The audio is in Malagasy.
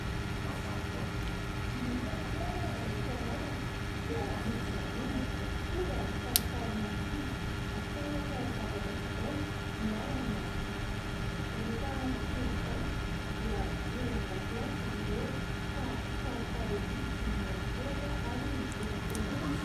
Misy fotoana any am-pianarana dia misy vahiny tonga hampifalifaly ny ankizy, hampianatra zava-baovao miala amin'ny mahazatra. Rehefa andro toy izany dia vory eo an-dakilasy izy ireo ka falifaly ery sy mihorakoraka ary mitehatehaka.